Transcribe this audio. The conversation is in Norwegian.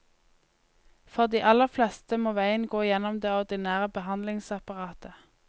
For de aller fleste må veien gå gjennom det ordinære behandlingsapparatet.